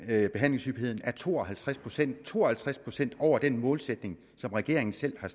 at behandlingshyppigheden er to og halvtreds procent to og halvtreds procent over den målsætning som regeringen selv har